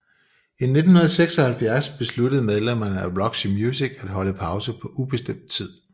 I 1976 besluttede medlemmerne af Roxy Music at holde pause på ubestemt tid